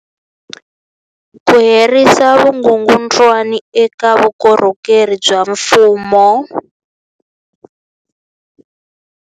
Ku herisa vukungundwani eka vukorhokeri bya mfumo.